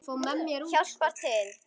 Hjálpar til.